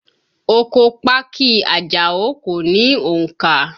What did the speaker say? Oko pákí i Àjàó kò ní òǹkà